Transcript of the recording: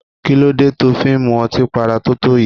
Kí ló dé tó fi ń mu ọtí para totoyi?